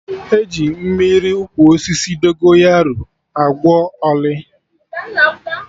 E ji Mmiri ụkwụ osisi Dogonyaro agwọ ọlị